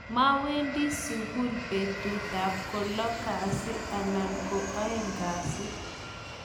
mawendi sukul betutab ko lo kasi ana ko oeng kasi